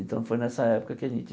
Então, foi nessa época que a gente